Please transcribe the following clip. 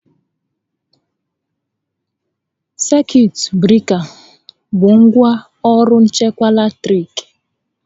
Salut breka bụ ngwá ọrụ nchekwa latiriki